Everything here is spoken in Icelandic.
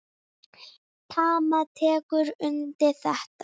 Tamar tekur undir þetta.